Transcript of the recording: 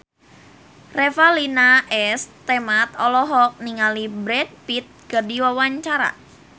Revalina S. Temat olohok ningali Brad Pitt keur diwawancara